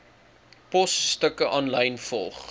posstukke aanlyn volg